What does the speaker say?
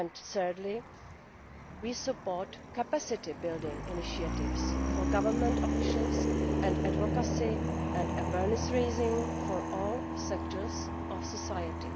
Thirdly we support capacity building initiatives for government officials and advocacy and awareness raising for all sectors of society.